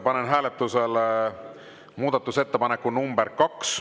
Panen hääletusele muudatusettepaneku nr 2.